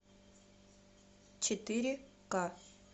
четыре ка